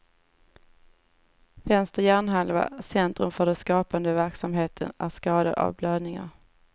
Vänster hjärnhalva, centrum för den skapande verksamheten, är skadad av blödningar.